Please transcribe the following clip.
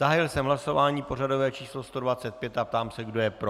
Zahájil jsem hlasování pořadové číslo 125 a ptám se, kdo je pro.